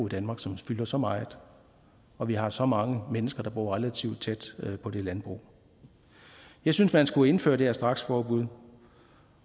danmark som fylder så meget og vi har så mange mennesker der bor relativt tæt på det landbrug jeg synes man skulle indføre det her straksforbud